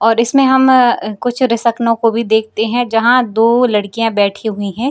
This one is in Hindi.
और इसमें हम अअ कुछ रेसकनो कभी देखते हैं जहां दो लड़कियां बैठी हुई हैं।